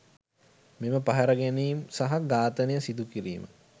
මෙම පැහැරගැනීම් සහ ඝාතනය සිදුකිරීම